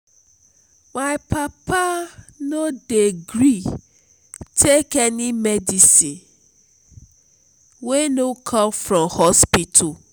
my papa no dey gree take any medicine wey no come from hospital.